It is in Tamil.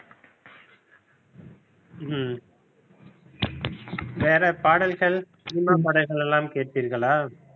ஹம் வேற பாடல்கள் cinema பாடல்கள் எல்லாம் கேட்பீர்களா?